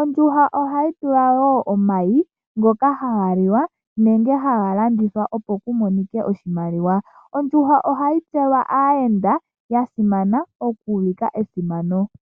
Ondjuhwa ohayi vala wo omayi, ngoka haga liwa nenge haga landithwa opo ku monike oshimaliwa. Ondjuhwa ohayi dhipagelwa aayenda, okuulika esimano.